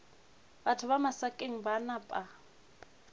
batho ba masakeng ba napa